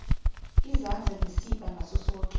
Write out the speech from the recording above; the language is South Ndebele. izandla ngesibha ngasosoke